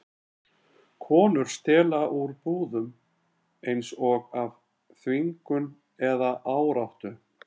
Konur stela úr búðum, eins og af þvingun eða áráttu.